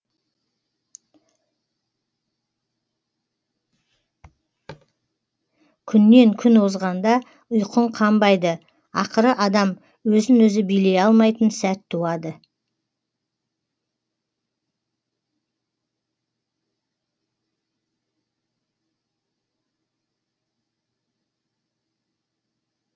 күннен күн озғанда ұйқың қанбайды ақыры адам өзін өзі билей алмайтын сәт туады